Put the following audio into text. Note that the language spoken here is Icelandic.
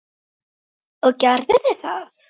Og gerðu þið það?